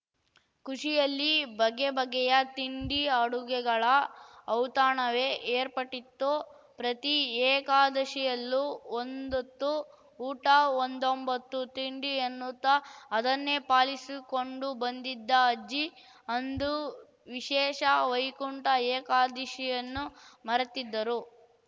ಖುಷಿಯಲ್ಲಿ ಬಗೆ ಬಗೆಯ ತಿಂಡಿ ಅಡುಗೆಗಳ ಔತಣವೇ ಏರ್ಪಟಿತ್ತು ಪ್ರತಿ ಏಕಾದಶಿಯಲ್ಲೂ ಒಂದ್ಹೊತ್ತು ಊಟಒಂದೊಂಬ್ಬತ್ತು ತಿಂಡಿ ಎನ್ನುತ್ತಾ ಅದನ್ನೇ ಪಾಲಿಸಿಕೊಂಡು ಬಂದಿದ್ದ ಅಜ್ಜಿ ಅಂದು ವಿಶೇಷ ವೈಕುಂಠ ಏಕಾದಶಿಯನ್ನೂ ಮರೆತಿದ್ದರು